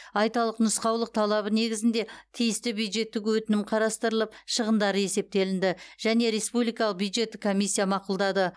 айталық нұсқаулық талабы негізінде тиісті бюджеттік өтінім қарастырылып шығындары есептелінді және республикалық бюджеттік комиссия мақұлдады